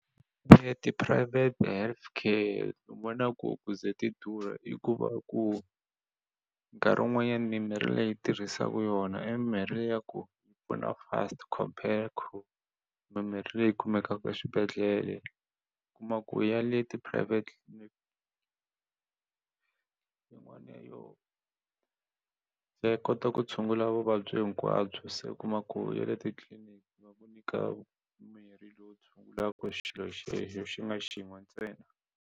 E tiphurayivhete health care ni vona ku ku ze ti durha i ku va ku nkarhi wun'wanyani mimirhi leyi tirhisaku yona i mirhi leyi ya ku yi pfuna fast compare mimirhi leyi kumekaka eswibedhlele u kuma ku ya le ti-private ya kota ku tshungula vuvabyi hinkwabyo se u kuma ku ya le titliliniki ku nyika mirhi lowu tshungulaka xilo xexo xi nga xin'we ntsena.